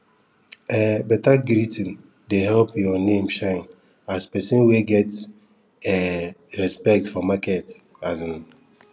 um beta greeting dey help your name shine as person wey get um respect for market um